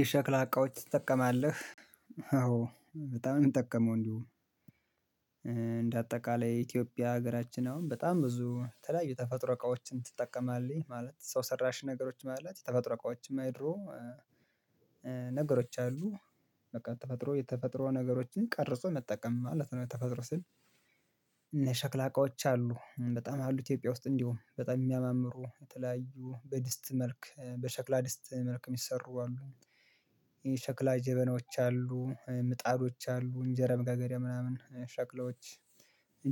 የሸክላ እቃዎች ትጠቀማለህ? አዎ በጣም ነው የምጠቀመው። እንዲሁም እንደ አጠቃላይ የኢትዮጵያ ሀገራችን አሁን በጣም ብዙ ተለያዩ ተፈጥሮ እቃዎችን ትጠቀማለች ማለት ሰው ሰራሽ ነገሮች ማለት ተፈጥሮ እቃዎችም አይድሮ ነገሮች አሉ በቃ ተፈጥሮ የተፈጥሮ ነገሮችን ቀርጾ መጠቀም ማለት ነው። ተፈጥሮ ስል እና ሸክላ እቃዎች አሉ በጣም አሉ ኢትዮጵያ ውስጥ እንዲሁ በጣም የሚያማምሩ የተለያዩ በድስት መልክ በሸክላ ድስት መልክ የሚሰሩ አሉ። ይሄ ሸክላ ጀበናዎች አሉ ምጣዶች አሉ እንጀራ መጋገሪያ ምናምን ሸክላዎች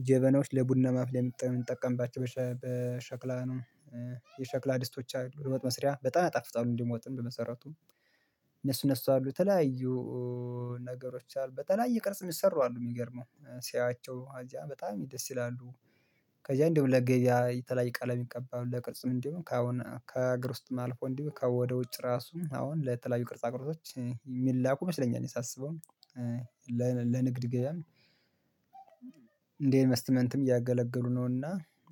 ጀበናዎች ለቡና ማፍሊያ እምንጠቀምባቸው በሸክላ ነው። የሸክላ ድስቶች አሉ ወጥ መስሪያ በጣም ያጣፍጧል እንዲሁም ወጥን በመሰረቱም እነሱ እነሱ አሉ የተለያዩ ነገሮች አሉ በተለያየ ቅርጽ የሚሰሩ አሉ የሚገርመው ሲያያቸው አዚያ በጣም ደስ ይላሉ። ከዛ እንዲሁም ለገበያ የተለያየ ቀለም ይቀባው ለቅርጽም እንደውም ከአሁን ከአገር ውስጥም አልፎ እንዲህ ከወደ ውጭ ራሱም አሁን ለተለያዩ ቅርጻ ቅርጾች የሚላኩ መስለኛ እኔ ሳስበው። ለንግድ ገበያም እንዴት ኢንቨስትመንትም እያገለገሉ ነውና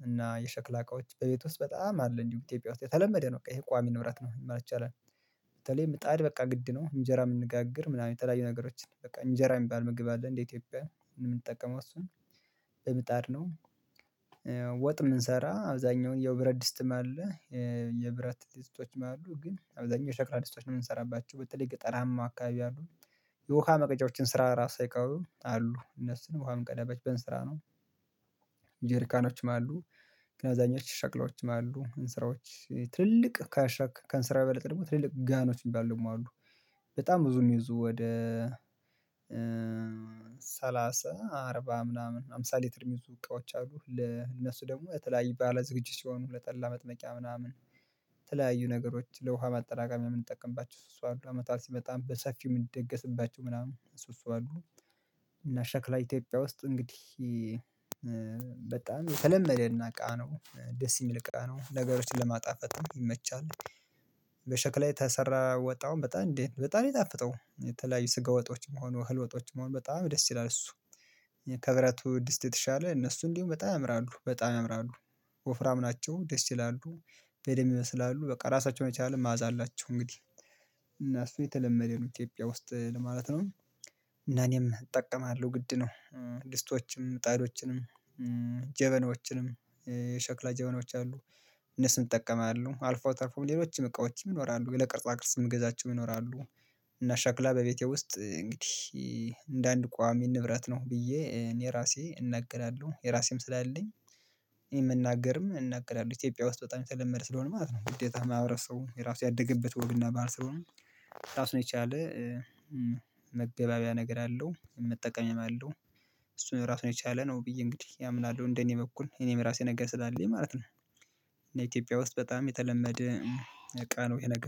እና የሸክላ እቃዎች በቤት ውስጥ በጣም አለ እንዲሁ ኢትዮጵያ ውስጥ የተለመደ ነው። በቃ ይሄ ቋሚ ንብራት ነው ይመራቻል በተለይ ምጣድ በቃ ግድ ነው እንጀራ የምንጋግር ምናምን የተለያዩ ነገሮችን በቃ እንጀራ የሚባል ምግብ አለ እንዴ ኢትዮጵያ የምንጠቀመው እሱን ምጣድ ነው። ወጥ የምንሰራ አብዛኛውን የብረት ድስትም አለ የብረት ድስቶችም አሉ ግን አብዛኛው ሸክራ ድስቶች ነው የምንሰራባቸው በተለይ ገጠራማ አካባቢ አሉ። የውሃ መቅጄዎች እንስራ ራሱ ሳይቀሩ አሉ እነሱን ውሃ የምንቀዳባቸው በእንስራ ነው። ጄርካኖችም አሉ ገናዛኞች ሸክላዎችም አሉ እንስራዎች ትልቅ ከሸክ ከእንስራ በለጠ ደግሞ ትልልቅ ጋኖችም ባሉም አሉ በጣም ብዙ እሚይዙ ወደ ሰላሳ አርባ ምናምን አምሳ ሊትር የሚይዙ እቃዎች አሉ። ለእነሱ ደግሞ የተለያዩ ባለ ዝግጅት ሲሆኑ ለጠላ መጥመቂያ ምናምን የተለያዩ ነገሮች ለውሃ ማጠራቀሚያ የምንጠቀምባቸው እሱ እሱ አሉ አመትባል ሲመጣም በሰፊው የምንደገስባቸው ምናምን እሱ እሱ አሉ። እና ሸክላ ኢትዮጵያ ውስጥ እንግዲህ በጣም ተለመደና እቃ ነው ደስ የሚል እቃ ነው ነገሮችን ለማጣፈጥ ይመቻል። በሸክላ የተሰራ ወጣውም በጣም እንዴ በጣም የሚጣፍጠው የተለያዩ ስጋ ወጦችም ሆኖ ህልወጦችም ሆኖ በጣም ደስ ይላል እሱ። ከብረቱ ድስት የተሻለ እነሱ እንዲሁ በጣም ያምራሉ በጣም ያምራሉ ወፍራም ናቸው ደስ ይላሉ። በደንብ ይመስላሉ በቃ ራሳቸውን የቻለ ማዕዛ አላቸው እንግዲህ እና እሱ የተለመደ ነው ኢትዮጵያ ውስጥ ለማለት ነው እና እኔም እጠቀማለሁ ግድ ነው። ድስቶችም ምጣዶችንም ጀበኖችንም ሸክላ ጀበኖች አሉ እነሱም እጠቀማለሁ አልፈው ተርፈውም ሌሎችም እቃዎችም ይኖራሉ ለቅርጻ ቅርጽም እገዛቸውም ይኖራሉ። እና ሻክላ በቤቴ ውስጥ እንግዲህ እንደ አንድ ቋሚ ንብረት ነው ብዬ እኔ ራሴ እናገላለሁ የራሴም ስላለኝ የምናገርም እናገላለሁ ኢትዮጵያ ውስጥ በጣም የተለመደ ስለሆነ ማለት ነው። ግዴታ ማህበረሰቡ የራሱ ያደገበት ወግና ባህር ስለሆነ ራሱን የቻለ መግባቢያ ነገር አለው መጠቀምም አለው እሱን ራሱን የቻለ ነው ብዬ እንግዲህ ያምናል እንደኔ በኩል እኔም ራሴ ነገ ስላለኝ ማለት ነው። ኢትዮጵያ ውስጥ በጣም የተለመደ ነገ ነው ይሄ ነገ